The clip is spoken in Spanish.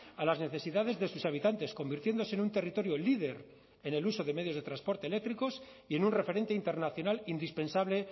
a las necesidades de sus habitantes convirtiéndose en un territorio líder en el uso de medios de transporte eléctricos y en un referente internacional indispensable